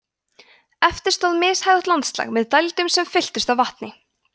eftir stóð mishæðótt landslag með dældum sem fylltust af vatni